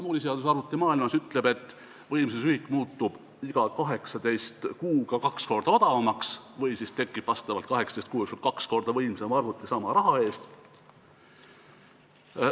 Moore'i seadus arvutimaailmas ütleb, et võimsusühik muutub iga 18 kuuga kaks korda odavamaks või siis tekib 18 kuu jooksul kaks korda võimsam arvuti sama raha eest.